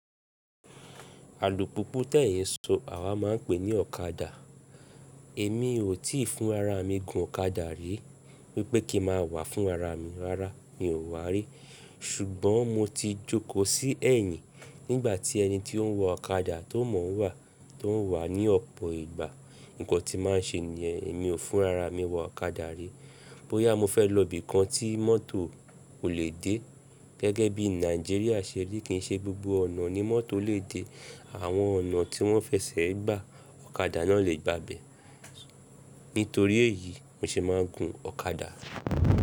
Alùpùpù tẹ̀yin n sọ àwa maa ń pè ní ọ̀kadà. Èmi ò tí ì fún ara mi gun ọ̀kadà rí, wípé kí n ma wà fún ara mi, rárá mi ò wà rí. Ṣùgbọ́n mo ti jókòó sí ẹ̀yìn nígbà tí ẹni tí ó ń wa ọ̀kadà tó mọ̀n wá, tó ń wà ní ọ̀pọ̀ ìgbà. Nǹkan tí ma ń ṣe nìyẹn. Èmi ò fún ara mi wa ọ̀kadà rí. Bóyá mo fẹ́ lọ ibìkan tí mọ́tò ò lè dé. Gẹ́gẹ́ bí Nàìjíríà ṣe rí, kì ń ṣe gbogbo ọ̀nà ni mọ́tò lè dé. Àwọn ọ̀nà tí wọ́n fẹṣẹ̀ẹ́ gbà, ọ̀kadà náà lè gbà ibẹ̀. Nítorí èyí, ni mo ṣe máa ń gun ọ̀kadà.